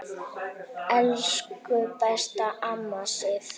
Elsku besta amma Sif.